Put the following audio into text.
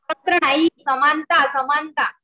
स्वातंत्र नाही समानता समानता